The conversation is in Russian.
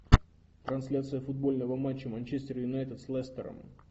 трансляция футбольного матча манчестер юнайтед с лестером